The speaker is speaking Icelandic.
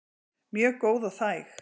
Mjög góð og þæg.